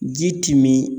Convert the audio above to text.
Ji ti min